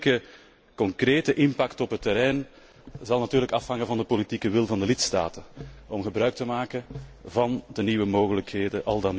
De onmiddellijke concrete impact op het terrein zal natuurlijk afhangen van de politieke wil van de lidstaten om al dan niet gebruik te maken van de nieuwe mogelijkheden.